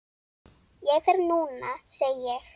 Ég fer núna, segi ég.